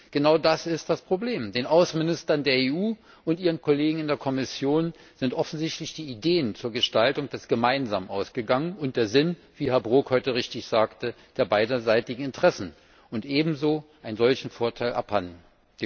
Genau das ist das Problem Den Außenministern der EU und ihren Kollegen in der Kommission sind offensichtlich die Ideen zur Gestaltung des Gemeinsamen ausgegangen und der Sinn wie Herr Brok heute richtig sagte für beiderseitige Interessen und einen ebensolchen Vorteil abhandengekommen.